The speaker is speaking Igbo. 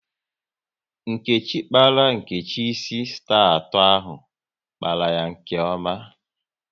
Nkechi kpara Nkechi ịsị star atọ ahụ, kpatara ya nke ome